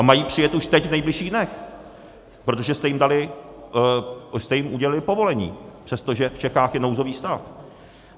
A mají přijet už teď v nejbližších dnech, protože jste jim udělili povolení, přestože v Čechách je nouzový stav.